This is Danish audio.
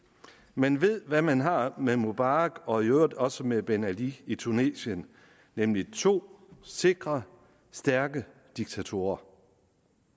man ved hvad man har med mubarak og i øvrigt også med ben ali i tunesien nemlig to sikre stærke diktatorer